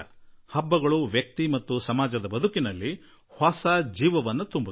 ಹಬ್ಬ ವ್ಯಕ್ತಿ ಮತ್ತು ಸಮಾಜದ ಜೀವನದಲ್ಲಿ ಹೊಸ ಪ್ರಾಣ ತುಂಬುತ್ತದೆ